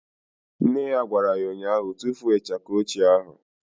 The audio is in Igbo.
Nne ya gwara ya ụnyaahụ " Tufuo ịchaka ochie ahụ"!